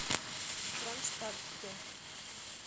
кронштадте